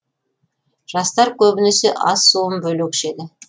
жастар көбінесе ас суын бөлек ішеді